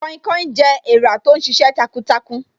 Kainkain jẹ́ èrà tó ń sisẹ takuntakun